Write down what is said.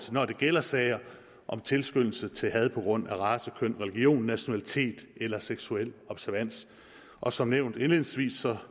når det gælder sager om tilskyndelse til had på grund af race køn religion nationalitet eller seksuel observans og som nævnt indledningsvis